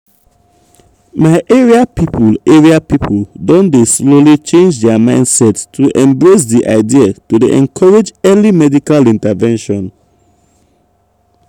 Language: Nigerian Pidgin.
my area people area people don dey slowly change dia mindset to embrace di idea to dey encourage early medical intervention.